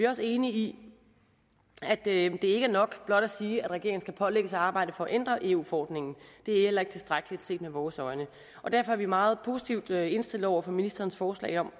også enige i at det ikke er nok blot at sige at regeringen skal pålægges at arbejde for at ændre eu forordningen det er heller ikke tilstrækkeligt set med vores øjne derfor er vi meget positivt indstillet over for ministerens forslag om